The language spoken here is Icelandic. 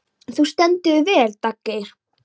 Þú stendur þig vel, Daggeir!